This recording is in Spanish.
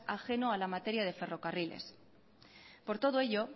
ajeno a la materia de ferrocarriles por todo ello